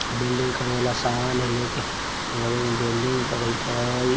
Welding करे वाला समान है लेकर गाड़ी में वेल्डिंग करैत हेय।